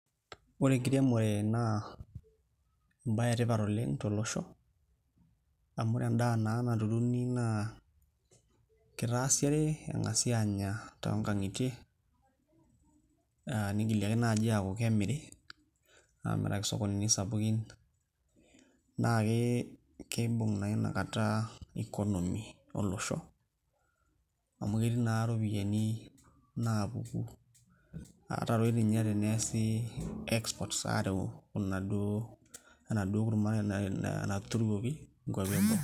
Ore enkiremore naa embaye etipat oleng tolosho amu ore endaa naa naturuni naa kitaasi are eng'asi aanya tonkang'itie uh nigili ake naaji aaku kemiri amiraki isokonini sapukin naake keibung naa inakata economy olosho amu ketii naa iropiyiani napuku ata toi tinye teneesi exports arew inaduo enaduo kurma na natuturuoki inkuapi eboo.